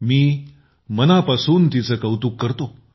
मी मनापासून तिचे कौतुक करतो